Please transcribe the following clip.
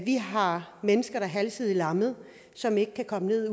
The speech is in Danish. vi har mennesker der er halvsidigt lammet som ikke kan komme ned